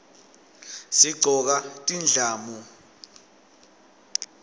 sigcoka tindlamu